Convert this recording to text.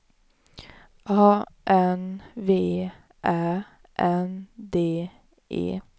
A N V Ä N D E